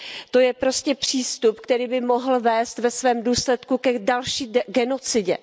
To je prostě přístup, který by mohl vést ve svém důsledku k další genocidě.